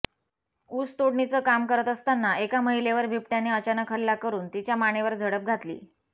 ऊस तोडणीचं काम करत असताना एका महिलेवर बिबट्याने अचानक हल्ला करून तिच्या मानेवर झडप घातली